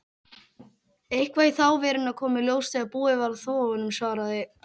Eitthvað í þá veruna kom í ljós þegar búið var að þvo honum, svaraði